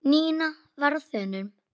Nína var á þönum.